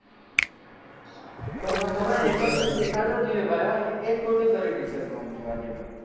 એટલો seen દેખાડવો જોઈએ એ ખોટું કર્યું એ picture માં આમ જોવા જઈએ તો,